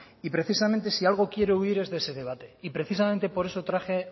y precisamente si de algo quiero huir es de ese debate y precisamente por eso traje